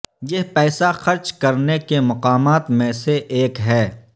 یہ پیسہ خرچ کرنے کے مقامات میں سے ایک ہے